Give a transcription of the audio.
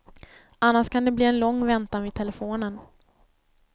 Annars kan det bli en lång väntan vid telefonen.